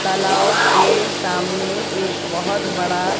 तलाव के सामने एक बहोत बड़ा--